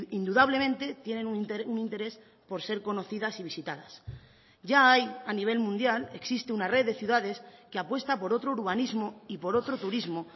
indudablemente tienen un interés por ser conocidas y visitadas ya hay a nivel mundial existe una red de ciudades que apuesta por otro urbanismo y por otro turismo